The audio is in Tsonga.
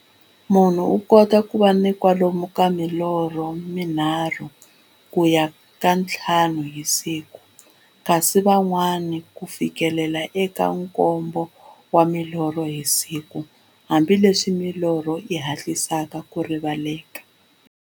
Munhu u kota ku va na kwalomu ka milorho mi nharhu ku ya ka ya nthlanu hi siku, kasi van'wana ku fikela eka nkombo wa milorho hi siku, hambileswi milorho yi hatlisaka ku rivaleka.